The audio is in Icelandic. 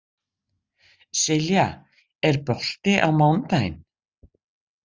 Silja, er bolti á mánudaginn?